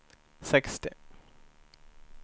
sextio